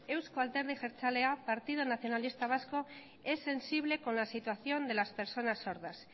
eusko alderdi jeltzalea partido nacionalista vasco es sensible con la situación de las personas sordas